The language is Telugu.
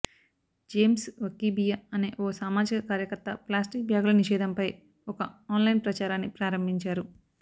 జేమ్స్ వకీబియా అనే ఓ సామాజిక కార్యకర్త ప్లాస్టిక్ బ్యాగుల నిషేధంపై ఒక ఆన్లైన్ ప్రచారాన్ని ప్రారంభించారు